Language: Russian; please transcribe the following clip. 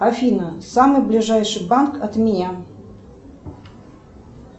афина самый ближайший банк от меня